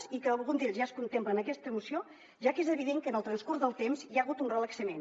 i que algun d’ells ja es contemplen en aquesta moció ja que és evident que en el transcurs del temps hi ha hagut un relaxament